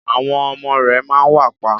Àwọn ọmọ rẹ ma wà pa.